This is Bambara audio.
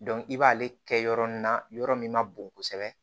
i b'ale kɛ yɔrɔ min na yɔrɔ min ma bon kosɛbɛ